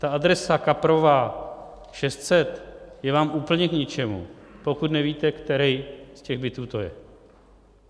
Ta adresa Kaprova 600 je vám úplně k ničemu, pokud nevíte, který z těch bytů to je.